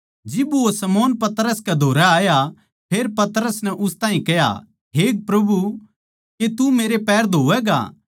जिब वो शमौन पतरस कै धोरै आया फेर पतरस नै उस ताहीं कह्या हे प्रभु के तू मेरे पैर धोवैगा